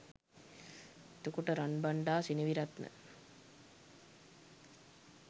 එතකොට රන්බණ්ඩා සෙනවිරත්න